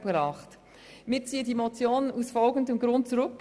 Wir ziehen die Motion aus folgendem Grund zurück: